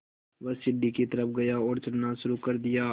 वह सीढ़ी की तरफ़ गया और चढ़ना शुरू कर दिया